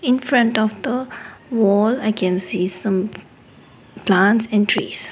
in front of the wall i can see some plants and trees.